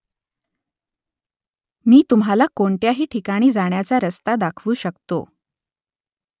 मी तुम्हाला कोणत्याही ठिकाणी जाण्याचा रस्ता दाखवू शकतो ?